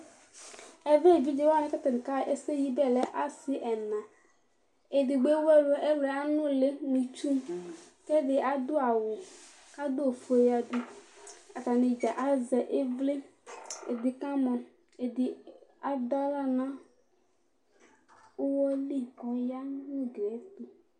Ɛvɛ evidze wanɩ kʋ atanɩ akaɣa ɛsɛyibɛ yɛ lɛ asɩ ɛna Edigbo ewu ɛlʋ Ɛlʋ yɛ anʋlɩ mʋ itsu kʋ ɛdɩ adʋ awʋ kʋ adʋ ofue yǝdu Atanɩ dza azɛ ɩvlɩ Ɛdɩ kamɔ, ɛdɩ adʋ aɣla nʋ ʋɣɔ li kʋ ɔya nʋ ugli yɛ tʋ